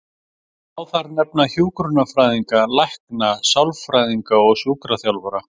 Má þar nefna hjúkrunarfræðinga, lækna, sálfræðinga og sjúkraþjálfara.